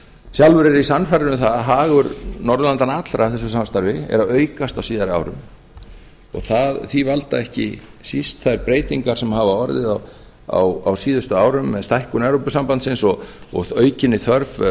sjálfur er ég sannfærður um að hagur norðurlandanna allra að þessu samstarfi er að aukast á síðari árum og því valda ekki síst þær breytingar sem hafa orðið á síðustu árum með stækkun evrópusambandsins og aukinni þörf